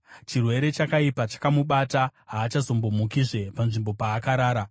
“Chirwere chakaipa chakamubata, haachambomukizve panzvimbo paakarara.”